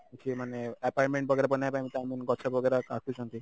ଇଏ ମାନେ apartment वगेरा ବନେଇବା ପାଇଁ i mean ଗଛ वगेरा କାଟୁଛନ୍ତି